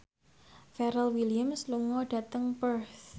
Pharrell Williams lunga dhateng Perth